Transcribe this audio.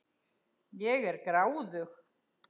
Ég er gráðug.